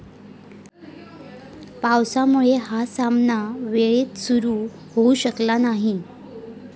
पावसामुळे हा सामना वेळेत सुरू होऊ शकला नाही.